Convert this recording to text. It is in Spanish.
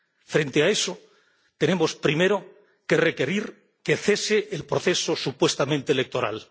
Frente a eso tenemos, primero, que requerir que cese el proceso supuestamente electoral.